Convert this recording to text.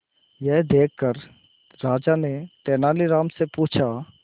यह देखकर राजा ने तेनालीराम से पूछा